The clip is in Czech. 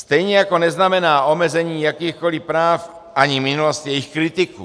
Stejně jako neznamená omezení jakýchkoliv práv ani minulost jejich kritiků.